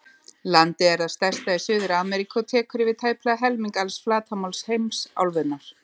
Landið er það stærsta í Suður-Ameríku og tekur yfir tæplega helming alls flatarmáls heimsálfunnar.